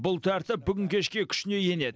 бұл тәртіп бүгін кешке күшіне енеді